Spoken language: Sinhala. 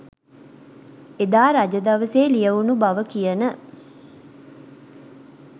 එදා රජ දවසේ ලියැවුණු බව කියන